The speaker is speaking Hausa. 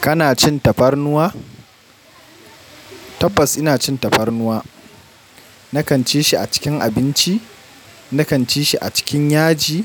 Kana cin tafarnuwa? Tabbas ina cin tafarnuwa. Na kan ci shi a cikin abinci, na kan ci shi a cikin yaji,